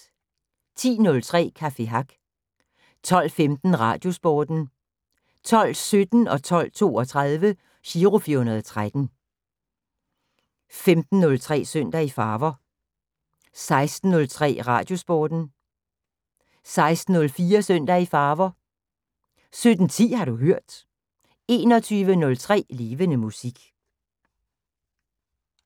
10:03: Café Hack 12:15: Radiosporten 12:17: Giro 413 12:32: Giro 413 15:03: Søndag i Farver 16:03: Radiosporten 16:04: Søndag i Farver 17:10: Har du hørt 21:03: Levende Musik